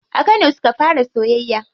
A kano suka fara soyayya.